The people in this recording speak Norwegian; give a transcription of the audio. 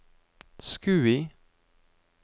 Skui